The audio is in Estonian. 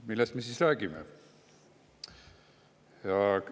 Millest me siis räägime?